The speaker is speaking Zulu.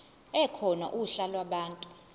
ekhona uhla lwabantu